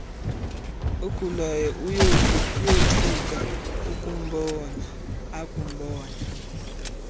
ogulayo uyothuka akumbona